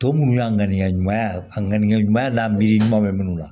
Tɔ minnu y'a ŋaniya ɲuman ŋaniya ɲuman n'a miiri ɲuman be minnu na